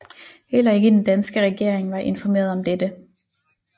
Heller ikke den danske regering var informeret om dette